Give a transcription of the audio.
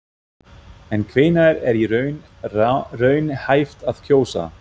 En hvenær er í raun raunhæft að kjósa?